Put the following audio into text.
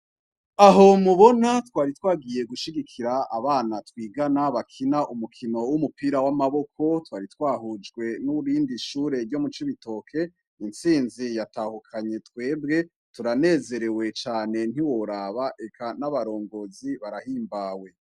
Aho mubona twari twagiye gushigikira abana twigana bakina umukino w'umupira w'amaboko. Twari twahujwe n'irindi shure ryo mu Cibitoke; Intsinzi yatahukanye twebwe. Turanezerewe cane ntiworaba, eka n'abarongozi barahimbawe.